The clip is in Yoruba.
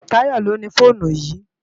Tayo ló ni fónú yi